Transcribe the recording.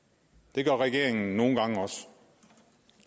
det gør regeringen nogle gange også